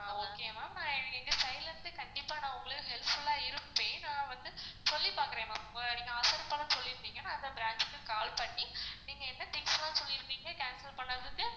அஹ் okay ma'am நான் எங்க side ல இருந்து கண்டிப்பா உங்களுக்கு helpful ஆ இருப்பன், நான் வந்து சொல்லி பாக்குறன் ma'am அந்த branch க்கு call பண்ணி நீங்க என்ன things லாம் சொல்லிருந்தீங்க cancel பண்ணனுண்டு